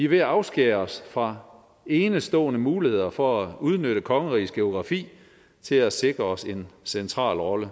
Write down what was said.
ved at afskære os fra enestående muligheder for at udnytte kongerigets geografi til at sikre os en central rolle